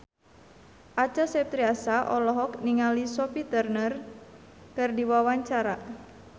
Acha Septriasa olohok ningali Sophie Turner keur diwawancara